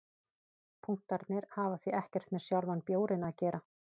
Punktarnir hafa því ekkert með sjálfan bjórinn að gera.